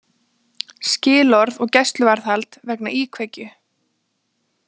Skilorð og gæsluvarðhald vegna íkveikju